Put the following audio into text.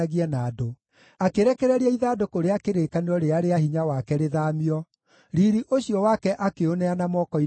Akĩrekereria ithandũkũ rĩa kĩrĩkanĩro rĩrĩa rĩa hinya wake rĩthaamio, riiri ũcio wake akĩũneana moko-inĩ ma thũ.